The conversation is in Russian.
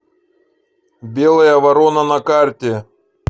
белая ворона на карте